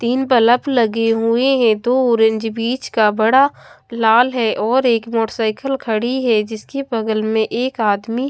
तीन बलब लगे हुए हैं दो ऑरेंज बीच का बड़ा लाल हैं और एक मोटरसाइकल खड़ी हैं जिसकी बगल में एक आदमी--